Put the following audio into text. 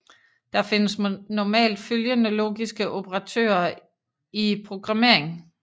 Der findes normalt følgende logiske operatorer i programmering